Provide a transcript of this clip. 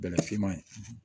Bɛlɛ fiman ye